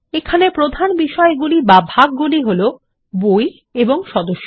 এখানে প্রধান বিষয়গুলি বা ভাগগুলি হলো বই এবং সদস্য